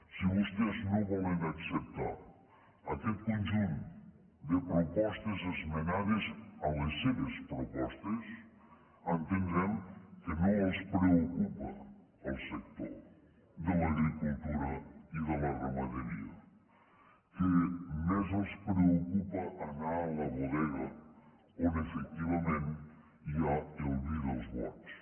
si vostès no volen acceptar aquest conjunt de propostes esmenades a les seves propostes entendrem que no els preocupa el sector de l’agricultura i de la ramaderia que més els preocupa anar a la bodega on efectivament hi ha el vi dels bons